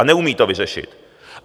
A neumí to vyřešit.